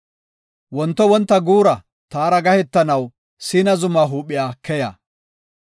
Wonto wonta guura taara gahetanaw Siina Zumaa huuphiya keya.